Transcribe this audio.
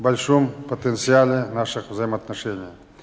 большом потенциале наших взаимоотношений